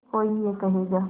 कोई ये कहेगा